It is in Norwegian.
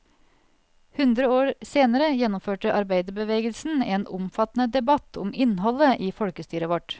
Hundre år senere gjennomførte arbeiderbevegelsen en omfattende debatt om innholdet i folkestyret vårt.